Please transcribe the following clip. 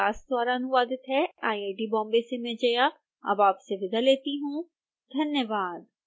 यह स्क्रिप्ट विकास द्वारा अनुवादित है आईआईटी बॉम्बे से मैं जया अब आपसे विदा लेती हूँ धन्यवाद